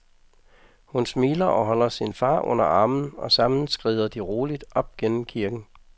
Hun smiler og holder sin far under armen og sammen skrider de roligt op gennem kirken.